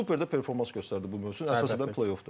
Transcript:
Və superdə performans göstərdi bu mövsüm, əsasən play-offdur.